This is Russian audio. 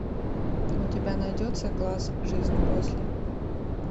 у тебя найдется класс жизнь после